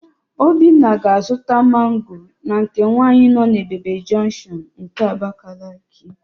Obinna ga-azụta mango na nke nwaanyị nọ n'Ebebe junction nke Abakaliki.